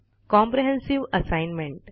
comprehensive assignment